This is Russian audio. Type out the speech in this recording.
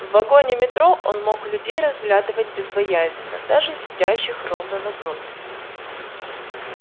в вагоне метро он мог людей разглядывать безбоязненно даже сидящих ровно напротив